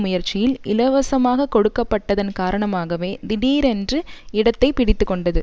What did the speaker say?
முயற்சியில் இலவசமாக கொடுக்கப்பட்டதன் காரணமாகவே தீடீரென்று இடத்தை பிடித்து கொண்டது